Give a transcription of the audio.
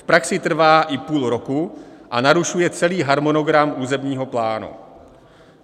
V praxi trvá i půl roku a narušuje celý harmonogram územního plánu.